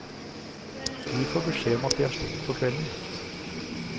Vi får beskjed om at de har stengt for kvelden.